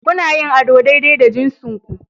Kuna yin ado daidai da jinsinku